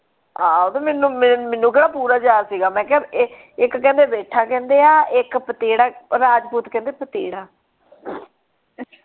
ਆਹੋ ਤੇ ਮੈਨੂੰ ਮੈਨੂੰ ਕੇਹੜਾ ਪੂਰਾ ਯਾਦ ਸੀ ਗਾ ਮੈਂ ਕਿਹਾ ਇੱਕ ਇੱਕ ਕਹਿੰਦੇ ਬੇਠਾ ਕਹਿੰਦੇ ਆ ਇੱਕ ਪਤੇੜਾ ਉਹ ਰਾਜਪੂਤ ਕਹਿੰਦੇ ਪਤੇੜਾ .